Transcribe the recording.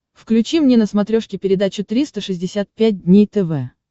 включи мне на смотрешке передачу триста шестьдесят пять дней тв